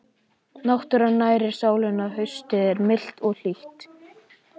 Náttúran nærir sálina Haustið er milt og hlýtt.